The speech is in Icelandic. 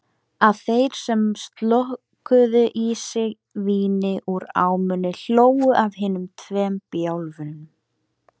Aðrir þeir sem slokuðu í sig víni úr ámunni hlógu að hinum tveim bjálfum.